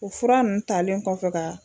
O fura ninnu talen kɔfɛ ka